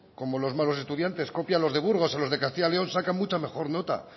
como los malos estudiantes copia a los de burgos a los de castilla y león sacan mucha mejor nota